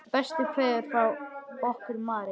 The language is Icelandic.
Bestu kveðjur frá okkur Marie.